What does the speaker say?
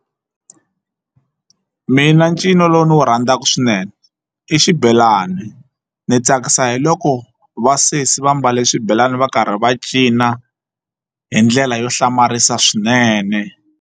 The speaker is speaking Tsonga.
Mina ncino lowu ndzi wu rhandzaka swinene i xibelani ni tsakisa hi loko vasesi va mbale swibelani va karhi va cina hi ndlela yo hlamarisa swinene.